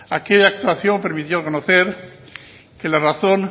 aquella actuación permitió conocer que la razón